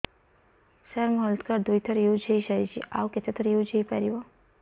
ସାର ମୋ health card ଦୁଇ ଥର ୟୁଜ଼ ହୈ ସାରିଛି ଆଉ କେତେ ଥର ୟୁଜ଼ ହୈ ପାରିବ